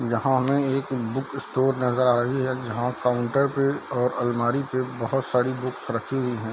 यहाँ हमें एक बुक स्टोर नजर आ रही है जहाँ काउंटर पे और अलमारी पे बहुत सारी बुक्स रखी हुई हैं।